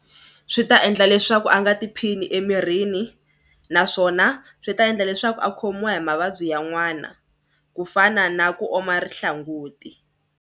Swi ta endla leswaku a nga tiphini emirini naswona swi ta endla leswaku a khomiwa hi mavabyi yan'wana ku fana na ku oma rihlanguti.